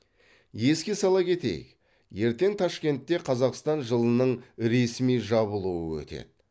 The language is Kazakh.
еске сала кетейік ертең ташкентте қазақстан жылының ресми жабылуы өтеді